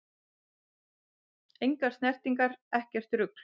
Engar snertingar, ekkert rugl!